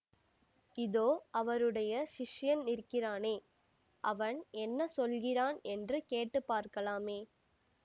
இதோ அவருடைய சிஷ்யன் நிற்கிறானே அவன் என்ன சொல்கிறான் என்று கேட்டுப் பார்க்கலாமே